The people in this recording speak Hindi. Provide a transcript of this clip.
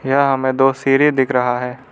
यहां हमे दो सीढी दिख रहा है।